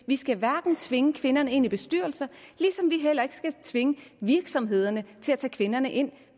vi skal hverken tvinge kvinderne ind i bestyrelser eller tvinge virksomhederne til at tage kvinderne ind